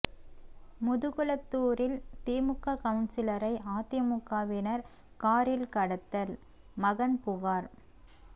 முதுகுளத்தூரில் திமுக கவுன்சிலரை அதிமுகவினா் காரில் கடத்தல் மகன் புகாா்